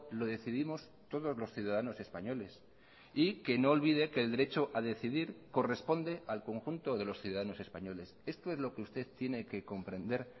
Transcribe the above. lo decidimos todos los ciudadanos españoles y que no olvide que el derecho a decidir corresponde al conjunto de los ciudadanos españoles esto es lo que usted tiene que comprender